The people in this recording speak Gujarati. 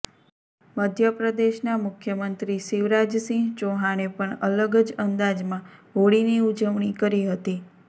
મધ્યપ્રદેશના મુખ્યમંત્રી શિવરાજ સિંહ ચૌહાણે પણ અલગ જ અંદાજમાં હોળીની ઉજવણી કરી હતી